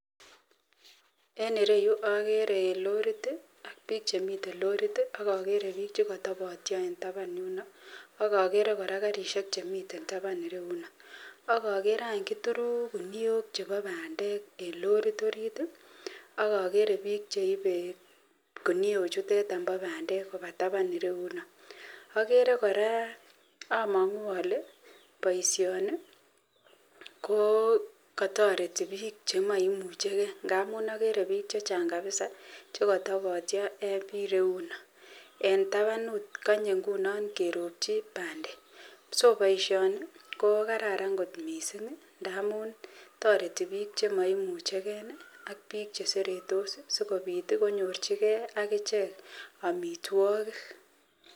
En ireyuu okere lorit tii ak bik chemiten lorit tii ak okere bik chekotobotyo en taban yuno akore Koraa karishek chemiten taban ireyuno ak okere any kituru kuniok chebo pandek en lorit orit tii ak okere bik cheibe kiniok chuton bo pandek koba taban ireyuno. Oker Koraa omongu ole boishoni ko kotoreti bik bik chemoimuche gee amun okere bik chechang kabisa chekotobotyo en bii reyuno en tabanut konye ngunon keropchi pandek. So boishoni ko kararan kot missingi ngamun toreti bik chemoimuchegee ak bik cheseretos sikopit tii konyorchigee ak ichek omitwokik.